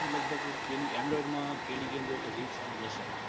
બરોબર લગભગ android માં પેલી ગેમ ગોટો.